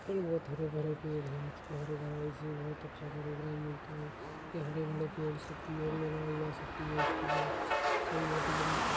ये बहुत हरे भरे पेड़ हैं जिस में हरा भरा बहुत अच्छा प्रोग्राम होता है ये हरे भरे पेड़ से सकती है इसकी अच्छाई होती है --